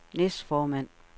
næstformand